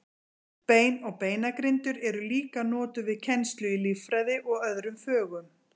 Bein og beinagrindur eru líka notuð við kennslu í líffræði og öðrum fögum.